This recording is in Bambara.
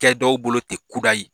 Kɛ dɔw bolo ten kudayi